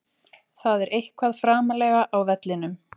Það er eitthvað framarlega á vellinum.